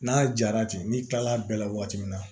N'a jara ten n'i kilala a bɛɛ la waati min na